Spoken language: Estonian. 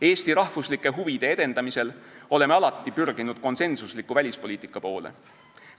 Eesti rahvuslike huvide edendamisel oleme alati pürginud konsensusliku välispoliitika poole.